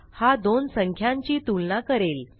हा दोन संख्यांची तुलना करेल